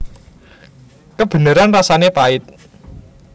Kebeneran rasané pait